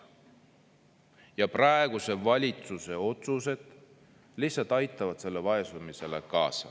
Ja praeguse valitsuse otsused lihtsalt aitavad sellele vaesumisele kaasa.